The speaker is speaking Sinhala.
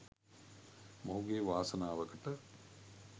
මොහුගේ වාසනාවකට